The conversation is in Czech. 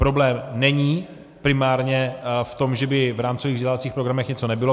Problém není primárně v tom, že by v rámcových vzdělávacích programech něco nebylo.